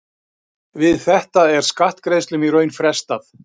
Við þetta er skattgreiðslum í raun frestað.